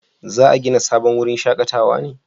za a gina sabon wurin shakatawa ne?